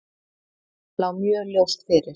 Lá mjög ljóst fyrir.